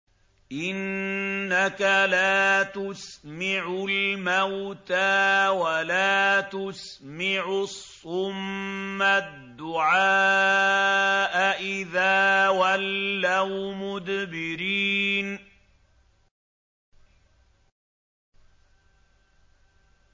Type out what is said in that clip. إِنَّكَ لَا تُسْمِعُ الْمَوْتَىٰ وَلَا تُسْمِعُ الصُّمَّ الدُّعَاءَ إِذَا وَلَّوْا مُدْبِرِينَ